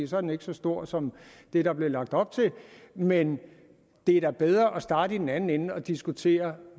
så er den ikke så stor som det der blev lagt op til men det er da bedre at starte i den anden ende og diskutere